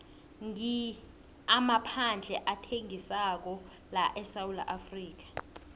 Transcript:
ngi amaphandle athengisako laesewula